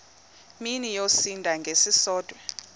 mini yosinda ngesisodwa